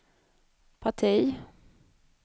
parti